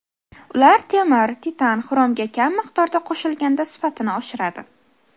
Ular temir, titan, xromga kam miqdorda qo‘shilganda sifatini oshiradi.